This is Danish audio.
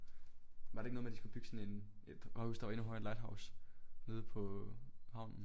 Var det ikke noget med at de skulle bygge sådan en et højhus der var endnu højere end Lighthouse nede på havnen?